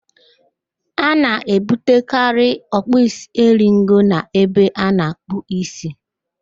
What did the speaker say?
A na-ebutekari ọkpụisieringo n'ebe a na-akpụ ísí